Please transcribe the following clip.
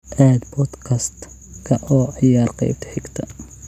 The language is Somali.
aad podcast-ka oo ciyaar qaybta xigta